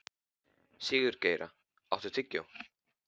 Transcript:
Sigurgeira, áttu tyggjó?